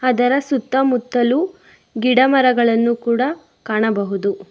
ಅದರ ಸುತ್ತಮುತ್ತಲು ಗಿಡಮರಗಳನ್ನು ಕೂಡ ಕಾಣಬಹುದು.